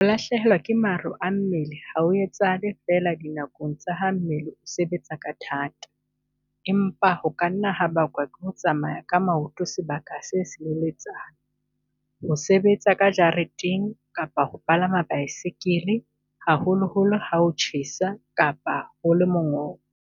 Ho lahlehelwa ke maro a mmele ha ho etsahale feela dinakong tsa ha mmele o sebetsa ka thata, empa ho ka nna ha bakwa ke ho tsamaya ka maoto sebaka se seleletsana, ho sebetsa ka jareteng kapa ho palama baesekele, haholoholo ha ho tjhesa kapa ho le mongobo.